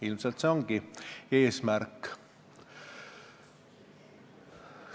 Ilmselt see ongi eesmärk.